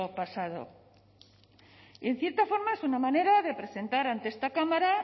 pasado y en cierta forma es una manera de presentar ante esta cámara